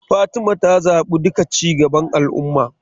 Fatima ta zaɓi duka cigaban al ummah[apc].